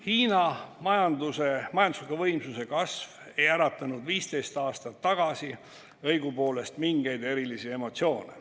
Hiina majandusliku võimsuse kasv ei äratanud 15 aastat tagasi õigupoolest mingeid erilisi emotsioone.